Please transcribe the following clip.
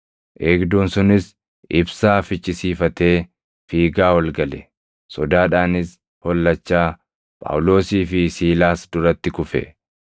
Eegduun sunis ibsaa fichisiifatee fiigaa ol gale; sodaadhaanis hollachaa Phaawulosii fi Siilaas duratti kufe;